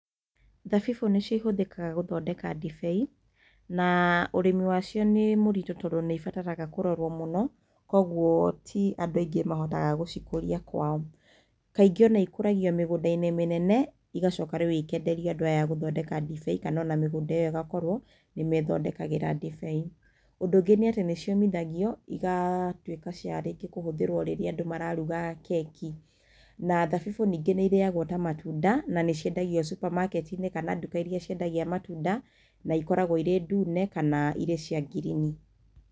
Thabibũ nĩcio ihũthĩkaga gũthondeka ndibei. Na ũrĩmi wacio nĩ mũritũ tondũ nĩ ibataraga kũrorwo mũno, kwoguo ti andũ aingĩ mahotaga gũcikũria kwao. Kaingĩ o na ikũragio mĩgũnda-inĩ mĩnene igacoka rĩu ĩkeenderio andũ aya a gũthondeka ndibei kana o na mĩgũnda ĩyo ĩgakorwo nĩ mĩĩthondekagĩra ndibei. Ũndũ ũngĩ nĩ atĩ nĩ ciũmithagio igatuĩka cia rĩngĩ kũhũthĩrwo rĩrĩa andũ mararuga keki. Na thabibũ ningĩ nĩ irĩagwo ta matunda na nĩ ciendagio supamaketi-inĩ kana nduka iria ciendagia matunda. Na ikoragwo irĩ ndune kana irĩ cia ngirini.